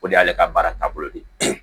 O de y'ale ka baara taabolo de ye